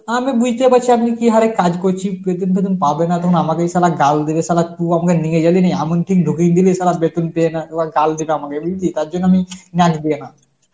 আমি বুঝতে পারছি আমি কি হারে কাজ করছি বেতন ফেতন পাব না তখন আমাদেরই শালা গাল দেবে শালা তু আপনে নিয়ে গেলি নি এমন কিং ঢুকিয়ে দিলি শালা বেতন পেয়ে না ওরা গাল দেবে আমাকে বুঝলি তার জন্য আমি